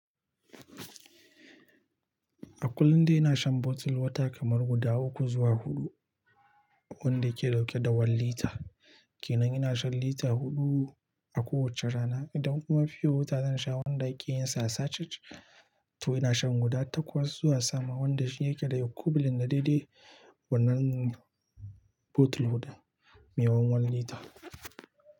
A kullum dai ina shan bottle water kamar guda uku zuwa huɗu wanda yake dauke da One lita. Kenan ina shan lita huɗu a kowace rana. Idan kuma fiyo wota zan sha wanda ake yin sa a sachet, to ina shan guda takwas zuwa sama wanda shi yake da equivalent na daidai wannan bottle me one one lita.